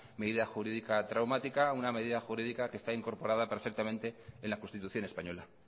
medida jurídica traumática una medida jurídica que está incorporada perfectamente en la constitución española